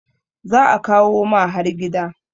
za a kawo ma har gida